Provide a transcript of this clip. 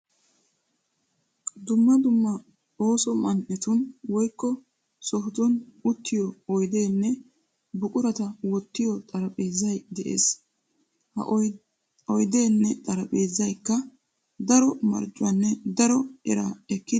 Dumma dumma ooso man"etun woykko sohotun uttiyo oydeenne buqurata wottiyo xarphpheezay de'ees. Ha oydeenne xarphpheezaykka daro marccuwanne daro eraa ekkidi giigees.